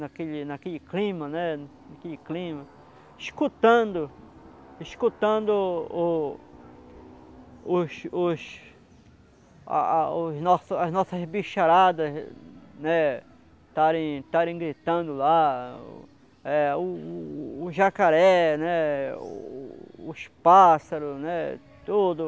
naquele naquele clima né, naquele clima, escutando, escutando escutando o os os a a o as nossas as nossas bicharadas estarem estarem gritando lá, é os os os jacarés, os os pássaros, tudo.